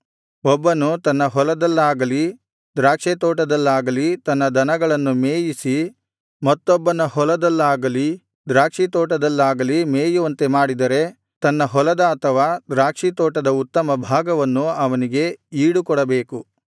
ಒಬ್ಬನು ತನ್ನ ಹೊಲದಲ್ಲಾಗಲಿ ದ್ರಾಕ್ಷಿತೋಟದಲ್ಲಾಗಲಿ ತನ್ನ ದನಗಳನ್ನು ಮೇಯಿಸಿ ಮತ್ತೊಬ್ಬನ ಹೊಲದಲ್ಲಾಗಲಿ ದ್ರಾಕ್ಷಿತೋಟದಲ್ಲಾಗಲಿ ಮೇಯುವಂತೆ ಮಾಡಿದರೆ ತನ್ನ ಹೊಲದ ಅಥವಾ ದ್ರಾಕ್ಷಿತೋಟದ ಉತ್ತಮ ಭಾಗವನ್ನು ಅವನಿಗೆ ಈಡು ಕೊಡಬೇಕು